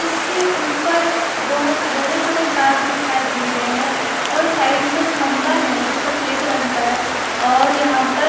इसके ऊपर बहुत बड़े-बड़े तार दिखाई दे रहे हैं और साइड में खंबा है जो सफेद रंग का है और यहां पर--